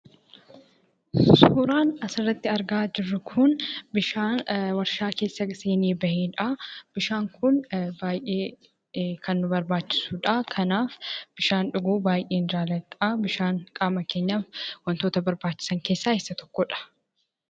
Suuraan asirratti argaa jirru Kun, suuraa bishaan warshaa keessa seenee bahedha. akkasumas bishaan Kun baayyee kan nu barbaachisudha. Kanaaf bishaan dhuguu baayyeen jaalladha. Bishaan waantota qaama keenyaaf barbaachisan keessaa isa tokkodha.